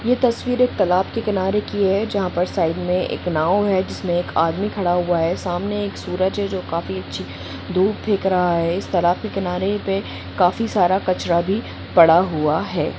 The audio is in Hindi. यह तस्वीर एक तालाब के किनारे की है जहां पर साइड में एक नाव है जिसमें एक आदमी खड़ा हुआ है सामने एक सूरज है जो काफी धूप देख रहा है इस तरह के किनारे पे काफी सारा कचरा भी पड़ा हुआ है।